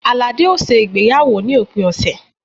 Alade ó ṣe ìgbéyàwó ní òpin ọ̀sẹ̀